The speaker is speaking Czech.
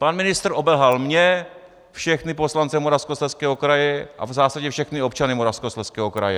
Pan ministr obelhal mě, všechny poslance Moravskoslezského kraje a v zásadě všechny občany Moravskoslezského kraje.